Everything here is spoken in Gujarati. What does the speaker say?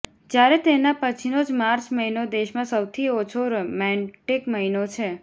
જ્યારે તેના પછીનો જ માર્ચ મહિનો દેશમાં સૌથી ઓછો રોમેન્ટિક મહિનો છે